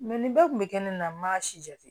nin bɛɛ kun bɛ kɛ ne na n b'a si jate